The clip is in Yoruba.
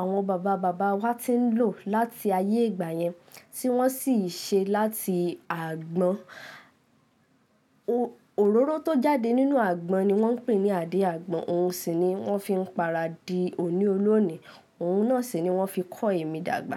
àwọn bàbá bàbá wa ti ń lò láti ayé ìgbà yẹn, tí wọ́n sì ṣe láti àgbọn. Òróró tó jáde nínú àgbọn ni wọ́n pè ní àdí àgbọn. Ohun sì ni wọ́n fi ń para di oní olóòní. Ohun náà sì ni wọ́n fi kọ èmi dàgbà.